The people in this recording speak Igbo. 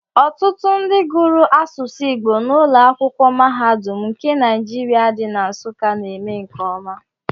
Ọtụtụ ndị gụrụ asụsụ Igbo n'ụlọ akwụkwọ mahadum nke Naijiria dị na Nsuka na-eme nke ọma.